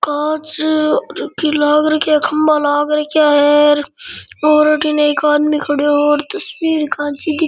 कांच की लग रखिये खम्भा लग रखिये है और अठीन एक आदमी खड़े है तस्वीर खांची --